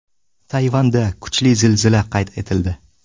Tayvanda kuchli zilzila qayd etildi.